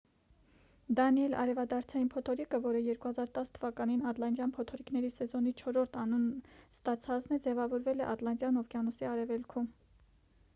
դանիել արևադարձային փոթորիկը որը 2010 թ ատլանտյան փոթորիկների սեզոնի չորրորդ անուն ստացածն է ձևավորվել է ատլանտյան օվկիանոսի արևելքում